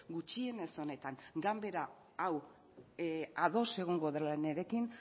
gutxienez honetan ganbera hau ados egongo dela nirekin